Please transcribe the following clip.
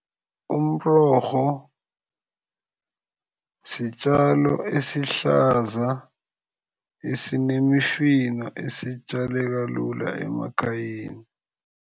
Umrorho sitjalo esihlaza esinemifino esitjaleka lula emakhayeni.